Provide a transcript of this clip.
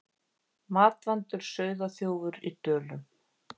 Matvandur sauðaþjófur í Dölum